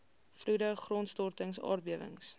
vloede grondstortings aardbewings